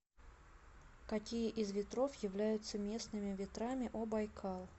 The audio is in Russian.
какие из ветров являются местными ветрами о байкал